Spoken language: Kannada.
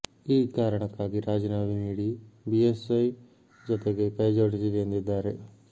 ಈ ಕಾರಣಕ್ಕಾಗಿ ರಾಜೀನಾಮೆ ನೀಡಿ ಬಿಎಸ್ವೈ ಜೊತೆಗೆ ಕೈ ಜೋಡಿಸಿದೆ ಎಂದಿದ್ದಾರೆ